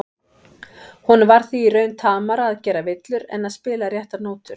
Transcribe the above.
Honum var því í raun tamara að gera villur en að spila réttar nótur.